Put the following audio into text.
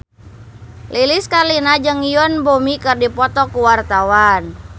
Lilis Karlina jeung Yoon Bomi keur dipoto ku wartawan